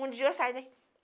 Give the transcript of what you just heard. Um dia saí daqui.